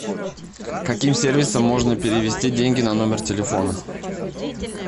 каким сервисом можно перевести деньги на номер телефона